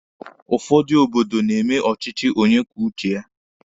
Ụfọdụ obodo na-eme ọchịchị onye kwuo uche ya.